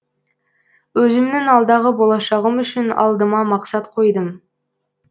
өзімнің алдағы болашағым үшін алдыма мақсат қойдым